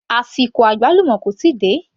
Àsìkò àgbálùmọ́ kò tíì dé